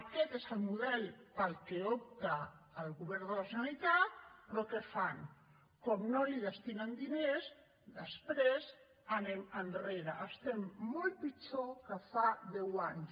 aquest és el model per al qual opta el govern de la generalitat però què fan com no hi destinen diners després anem enrere estem molt pitjor que fa deu anys